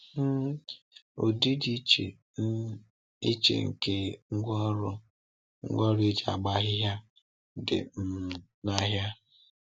um Ụdị dị iche um iche nke ngwaọrụ ngwaọrụ eji agba ahịhịa dị um n’ahịa.